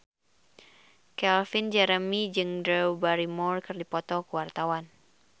Calvin Jeremy jeung Drew Barrymore keur dipoto ku wartawan